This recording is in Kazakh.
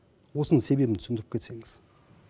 осының себебін түсіндіріп кетсеңіз